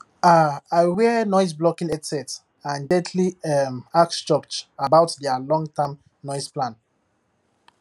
um i wear noiseblocking headset and gently um ask church about their longterm noise plan